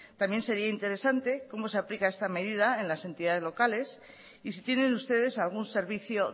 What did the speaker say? también sería interesante cómo se aplica esta medida en las entidades locales y si tienen ustedes algún servicio